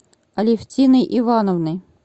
алевтиной ивановной